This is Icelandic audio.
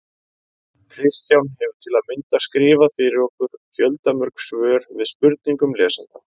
Kristján hefur til að mynda skrifað fyrir okkur fjöldamörg svör við spurningum lesenda.